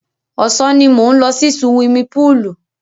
Ọ̀sán ni mò ń lọ sí suwimi púùlù.